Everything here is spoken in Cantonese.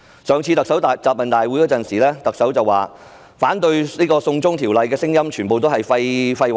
在上次的特首答問會上，特首說反對"送中條例"的聲音全是廢話。